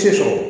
Se sɔrɔ